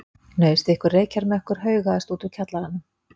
Hnausþykkur reykjarmökkur haugaðist út úr kjallaranum.